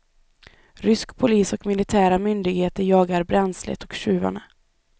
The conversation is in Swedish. Rysk polis och militära myndigheter jagar bränslet och tjuvarna.